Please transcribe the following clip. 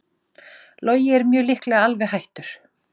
Logi mjög líklega alveg hættur